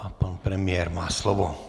A pan premiér má slovo.